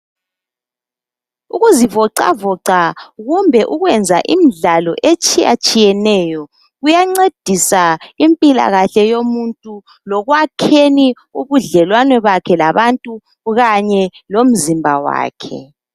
Ukuzuvoxavoxa kumbe ukwenza imidlalo etshiyatshiyeneyo. Kuyancedisa impilakhle yomuntu lekwakheni ubudlelwano bakhe labanye abantu. Kanye lomzimba wakhe.